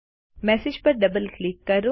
message પર double click કરો